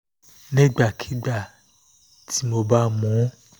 nígbàkigbà tí mo bá mu ún